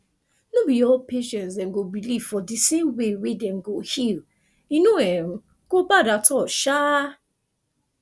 no be all patients dem go believe for di same way wey dem go heal e no um go bad at all sha